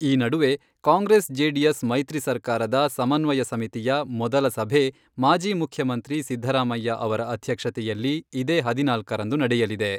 ಈ ನಡುವೆ ಕಾಂಗ್ರೆಸ್ ಜೆಡಿಎಸ್ ಮೈತ್ರಿ ಸರ್ಕಾರದ ಸಮನ್ವಯ ಸಮಿತಿಯ ಮೊದಲ ಸಭೆ ಮಾಜಿ ಮುಖ್ಯಮಂತ್ರಿ ಸಿದ್ದರಾಮಯ್ಯ ಅವರ ಅಧ್ಯಕ್ಷತೆಯಲ್ಲಿ ಇದೇ ಹದಿನಾಲ್ಕರಂದು ನಡೆಯಲಿದೆ.